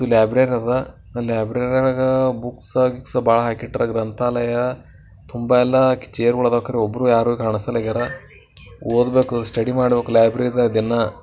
ಇಲ್ಲ್ ಲಬ್ರಾರ್ ಅದ ಲಾಬ್ರಾರ್ ಆಗ ಬುಕ್ಸ ಗಿಕ್ಸ ಭಾಳ್ ಆಕಿಟ್ಟಾರಾ ಗ್ರಂಥಾಲಯ ತುಂಬಾಯೆಲ್ಲಾ ಚೇರ್ ಗೊಳ್ ಆಕಾರ ಒಬ್ರು ಯಾರೂ ಕಾಣ್ಸಕ್ಯಾರ ಓದ್ ಬೇಕೂ ಸ್ಟಡಿ ಮಾಡ್ಬೇಕೂಲೈಬ್ರರಿದಾಗ ದಿನಾ.